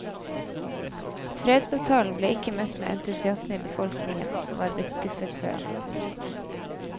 Fredsavtalen ble ikke møtt med entusiasme i befolkningen som var blitt skuffet før. punktum